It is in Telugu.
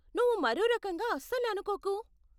నువ్వు మరో రకంగా అస్సలు అనుకోకు.